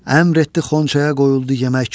Əmr etdi xonçaya qoyuldu yemək.